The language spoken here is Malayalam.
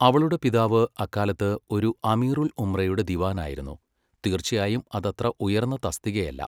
അവളുടെ പിതാവ് അക്കാലത്ത് ഒരു അമീറുൽ ഉംറയുടെ ദിവാനായിരുന്നു, തീർച്ചയായും അതത്ര ഉയർന്ന തസ്തികയല്ല.